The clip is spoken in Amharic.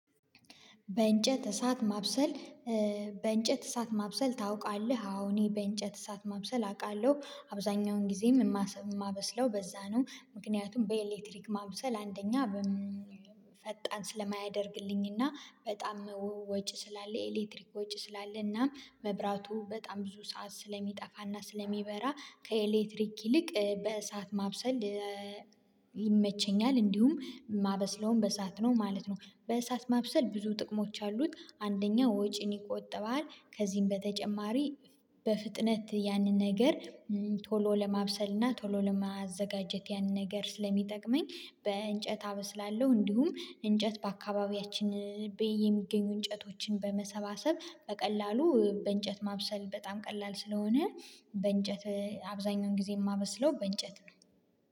በእንጨት እሳት ማብሰል? በእንጨት እሳት ማብሰል ታውቃለህ አዎ እኔ በእንጨት እሳት ማብሰል አውቃለሁ አብዛኛውን ጊዜም የማበስለው በዛ ነው ምክንያቱም በኤሌክትሪክ ማብሰል አንደኛ ፈጣን ስለማያደርግልኝና በጣም ወጪ ስላለ የኤሌክትሪክ ወጪ ስላለና መብራቱ በጣም ብዙ ሰዓት ስለሚጠፋና ስለሚበራ ከኤሌክትሪክ ይልቅ በእሳት ማብሰል። ይመቸኛል እንዲሁም ማበስለውም በእሳት ነው ማለት ነው። በእሳት ማብሰል ብዙ ጥቅሞች አሉት አንደኛው ወጪን ይቆጥባል። ከዚህም በተጨማሪ በፍጥነት ያንን ነገር ቶሎ ለማብሰል እና ቶሎ ለማዘጋጀት ያንን ነገር ስለሚጠቅመኝ በእንጨት አበስላለሁ እንዲሁም እንጨት በአካባቢያችን የሚገኙ እንጨቶችን በመሰባሰብ በቀላሉ በእንጨት ማብሰል በጣም ቀላል ስለሆነ በእንጨት አብዛኛውን ጊዜ የማበስለው በእንጨት ነው